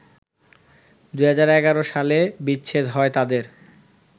২০১১ সালে বিচ্ছেদ হয় তাদের